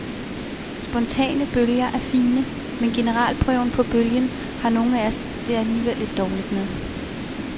Spontane bølger er fine, men generalprøven på bølgen har nogle af os det alligevel lidt dårligt med.